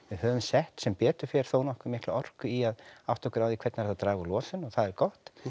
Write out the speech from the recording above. höfum sett sem betur fer þó nokkuð mikla orku í að átta okkur á því hvernig er hægt að draga úr losun og það er gott